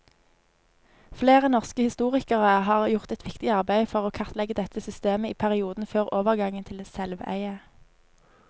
Flere norske historikere har gjort et viktig arbeid for å kartlegge dette systemet i perioden før overgangen til selveie.